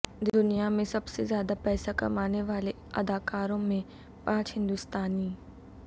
دنیا میں سب سے زیادہ پیسہ کمانے والے اداکاروں میں پانچ ہندوستانی